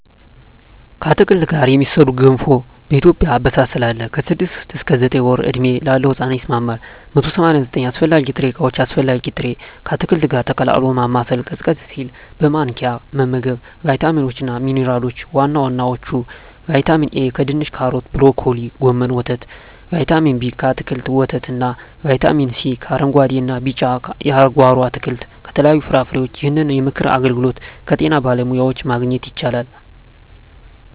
ከአትክልት ጋር የሚሠራ ገንፎ በኢትዮጵያ አበሳሰል አለ። ከ6 ወር እስከ 9 ወር ዕድሜ ላለው ሕጻን ይስማማል። 189 አስፈላጊ ጥሬ ዕቃዎች አስፈላጊ ጥሬ...፣ ከአትክልቱ ጋር ቀላቅሎ ማማሰል፣ ቀዝቀዝ ሲል በማንኪያ መመገብ። , ቫይታሚኖች እና ሚንራሎች(ዋና ዋናዎቹ) ✔️ ቫይታሚን ኤ: ከድንች ካሮት ብሮኮሊ ጎመን ወተት ✔️ ቫይታሚን ቢ: ከአትክልቶች ወተት እና ✔️ ቫይታሚን ሲ: ከአረንጉአዴ እና ቢጫ የጓሮ አትክልት ከተለያዩ ፍራፍሬዎች ይህንን የምክር አገልግሎት ከጤና ባለሙያዎች ማግኘት ይቻላል።